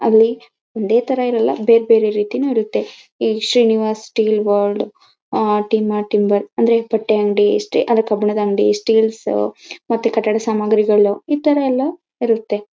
ಅಲ್ಲಿ ಒಂದೇ ತರ ಇರಲ್ಲ ಬೇರ್ಬೇರೆ ರೀತಿನೂ ಇರುತ್ತೆ ಈ ಶ್ರೀನಿವಾಸ್ ಸ್ಸ್ಟೀಲ್ ವಾರ್ಡ್ ಅಂದ್ರೆ ಬಟ್ಟೆಯಂಗಡಿ ಎಷ್ಟೇ ಅಲ್ಲ ಕಬ್ಬಿಣದಂಗಡಿ ಸ್ಟೀಲ್ಸ್ ಮತ್ತೆ ಕಟ್ಟಡ ಸಾಮಗ್ರಿಗಳು ಈ ತರ ಎಲ್ಲ ಇರುತ್ತೆ.